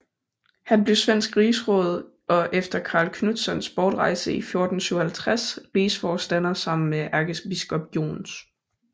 Han blev svensk rigsråd og efter Karl Knutssons bortrejse 1457 rigsforstander sammen med ærkebiskop Jons